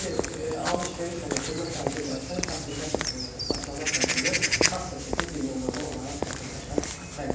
Yəni alış-veriş olan xidmət əldə edərsən kassirlər tərəfindən, yəni sahibkarlar tərəfindən kassa çeki birmənalı olaraq vətəndaşa təqdim olunmalıdır.